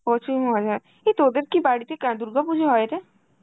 প্রচুর মজা, এই তোদের কি বাড়িতে কা~ দুর্গাপুজো হায়রে?